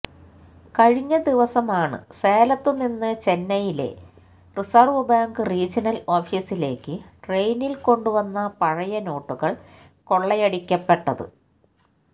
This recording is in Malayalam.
കഴിഞ്ഞദിവസമാണ് സേലത്തുനിന്നു ചെന്നൈയിലെ റിസര്വ് ബാങ്ക് റീജനല് ഓഫിസിലേക്ക് ട്രെയിനില് കൊണ്ടുവന്ന പഴയ നോട്ടുകള് കൊള്ളയടിക്കപ്പെട്ടത്